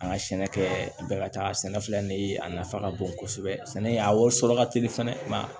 An ka sɛnɛ kɛ bɛɛ ka taa sɛnɛ filɛ nin ye a nafa ka bon kosɛbɛ sɛnɛ a wari sɔrɔ ka teli fɛnɛ